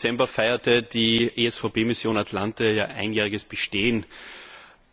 Am 8. Dezember feierte die ESVP Mission Atalanta ihr einjähriges Bestehen.